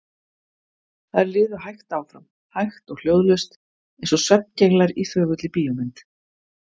Þær liðu hægt áfram, hægt og hljóðlaust, eins og svefngenglar í þögulli bíómynd.